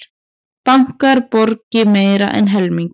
Bankar borgi meira en helming